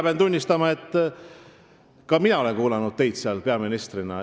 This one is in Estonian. Pean tunnistama, et ka mina kuulasin seda saadet, kui teie seal peaministrina esinesite.